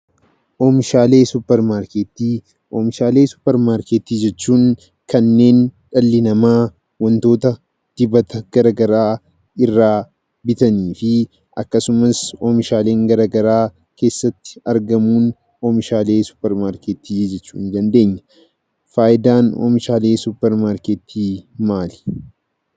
Oomishaalee Suupermaarkeetii Oomishaalee suupermaarkeetii jechuun kanneen dhalli namaa wantoota dibata garaagaraa irraa bitanii fi akkasumas oomishaaleen garaagaraa keessatti argamuun oomishaalee suupermaarkeetii jechuu ni dandeenya. Fayidaan oomishaalee suupermaarkeetii maali?